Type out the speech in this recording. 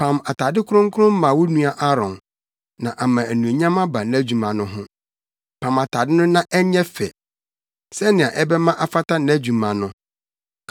Pam atade kronkron ma wo nua Aaron na ama anuonyam aba nʼadwuma no ho. Pam atade no na ɛnyɛ fɛ, sɛnea ɛbɛma afata nʼadwuma no.